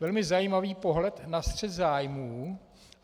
- Velmi zajímavý pohled na střet zájmů.